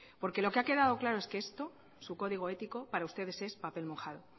porque lo que ha quedado claro es que esto su código ético para ustedes es papel mojado